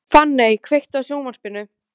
Fanney, kveiktu á sjónvarpinu.